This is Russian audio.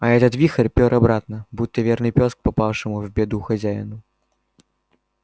а этот вихрь пёр обратно будто верный пёс к попавшему в беду хозяину